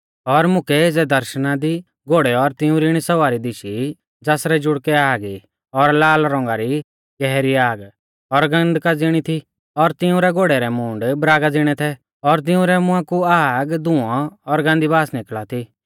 और मुकै एज़ै दर्शणा दी घोड़ै और तिंउरै इणी सवारी दिशी ज़ासरै जुड़कै आग ई और लाल रौंगा री गहरी आग और गन्धका ज़िणी थी और तिऊं घोड़ै रै मूंड़ बरागा ज़िणै थै और तिंउरै मुंहा कु आग धुंऔ और गान्दी बास निकल़ा थी